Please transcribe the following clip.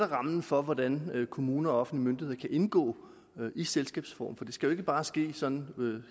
rammen for hvordan kommuner og offentlige myndigheder kan indgå i selskabsform for det skal ikke bare ske sådan